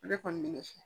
Ne kɔni bɛ fɛ